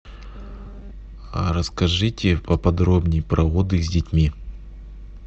расскажите поподробнее про отдых с детьми